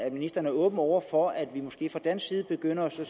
at ministeren er åben over for at vi måske fra dansk side begynder at sige